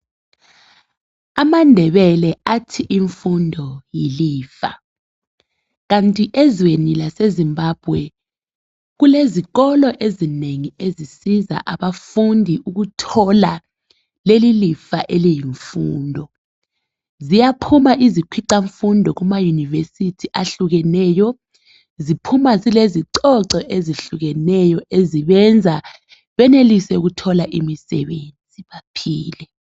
AmaNdebeke athi imfundo yilifa kanti ezweni laseZimbabwe kulezikolo ezinengi ezisiza abafundi ukuthola leli lifa eliyimfundo. Ziyaphuma izikhwicamfundo kumayunivesithi ahlukeneyo. Ziphuma zilezicoco ezehlukeneyo ezibenza benelise ukuthola umsebenzi baphile.